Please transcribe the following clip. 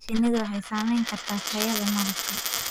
Shinnidu waxay saamayn kartaa tayada malabka.